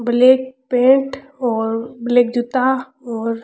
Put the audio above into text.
black paint और black जूता और --